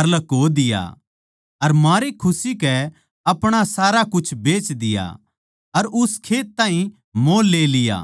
अर लको दिया अर मारे खुशी कै अपणा सारा कुछ बेच दिया अर उस खेत ताहीं मोल ले लिया